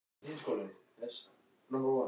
Hann sneri í mig baki en ég þekkti hann samt.